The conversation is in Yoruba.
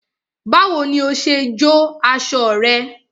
Báwo ni o ṣe jó aṣọ rẹ?